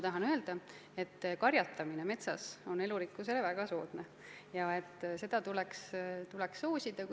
Tahan ka öelda, et karjatamine metsas on elurikkuse seisukohalt väga soodne ja seda tuleks soosida.